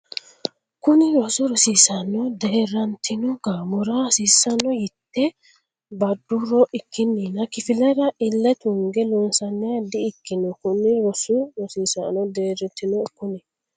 Kuni rosi rosiisaano deerrantino gaamora hasiisanno yite badduro ikkinnina kifillara ille tunge loonsanniha di ikkino Kuni rosi rosiisaano deerrantino Kuni.